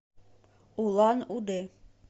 улан удэ